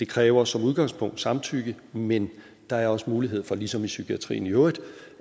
kræver som udgangspunkt samtykke men der er også mulighed for ligesom i psykiatrien i øvrigt